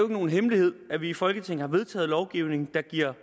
nogen hemmelighed at vi i folketinget har vedtaget lovgivning der giver